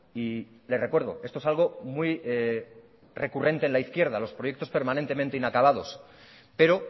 y le recuerdo esto es algo muy recurrente en la izquierda los proyectos permanentemente inacabados pero